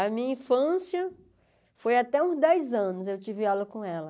A minha infância foi até uns dez anos, eu tive aula com ela.